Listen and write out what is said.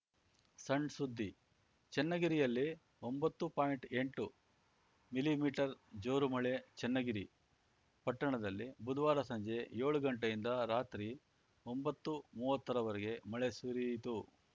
ಸಣ್‌ ಸುದ್ದಿ ಚನ್ನಗಿರಿಯಲ್ಲಿ ಒಂಬತ್ತು ಪಾಯಿಂಟ್ಎಂಟು ಮಿಲಿಮೀಟರ್ ಜೋರು ಮಳೆ ಚನ್ನಗಿರಿ ಪಟ್ಟಣದಲ್ಲಿ ಬುಧವಾರ ಸಂಜೆ ಯೋಳು ಗಂಟೆಯಿಂದ ರಾತ್ರಿ ಒಂಬತ್ತುಮುವ್ವತ್ತರ ವರೆಗೆ ಮಳೆ ಸುರಿಯಿತು